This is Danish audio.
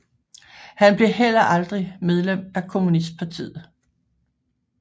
Han blev heller aldrig medlem af kommunistpartiet